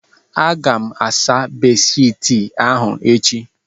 Aga m asa bedshiti ahụ echi